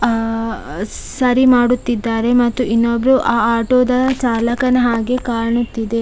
ಅಹ್ ಸರಿ ಮಾಡುತ್ತಿದ್ದಾರೆ ಮತ್ತು ಇನ್ನೊಬ್ರು ಆ ಆಟೋದ ಚಾಲಕನ ಹಾಗೆ ಕಾಣುತ್ತಿದೆ.